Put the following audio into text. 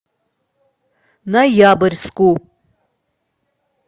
ноябрьску